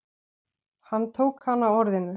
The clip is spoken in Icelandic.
Hann tók hana á orðinu.